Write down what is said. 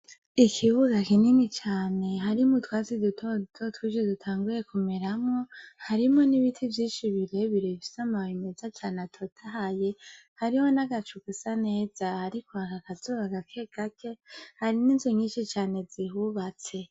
Ikibuga kinini cane harimwo utwatsi duto duto twinshi dutanguye kumeramwo harimwo n'ibiti vyinshi bire bire bifise amababi meza cane atotahaye hariho n'agacu gasa neza hariko haka akazuba gake gake hari n'inzu nyinshi cane zihubatse.